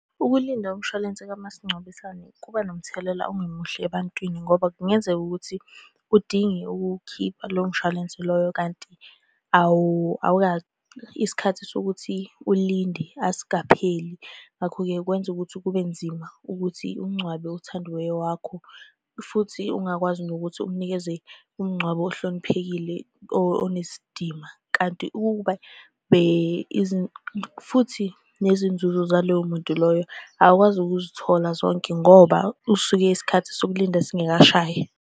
Ukulinda umshwalense kamasingcwabisane kuba nomthelela ongemuhle ebantwini, ngoba kungenzeka ukuthi udinge ukuwukhipha lowo mshwalense loyo, kanti isikhathi sokuthi ulinde asikapheli. Ngakho-ke kwenza ukuthi kube nzima ukuthi ungcwabe othandiweyo wakho, futhi ungakwazi nokuthi umunikeze umngcwabo ohloniphekile onesidima, kanti ukube futhi nezinzuzo zalowo muntu loyo awukwazi ukuzithola zonke ngoba usuke isikhathi sokulinda singekashayi.